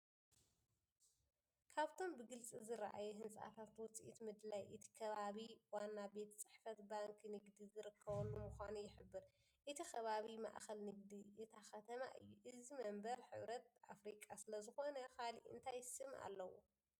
ካብቶም ብግልፂ ዝረኣዩ ህንፃታት ውፅኢት ምድላይ እቲ ከባቢ ዋና ቤት ፅሕፈት ባንኪ ንግዲ ዝርከበሉ ምዃኑ ይሕብር። እቲ ከባቢ ማእኸል ንግዲ እታ ከተማ እዩ። እዚ መንበር ሕብረት ኣፍሪቃ ስለዝኾነ ካልእ እንታይ ስም ኣለዎ?